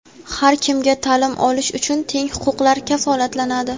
har kimga ta’lim olish uchun teng huquqlar kafolatlanadi.